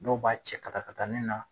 Dɔw b'a cɛ katakatani na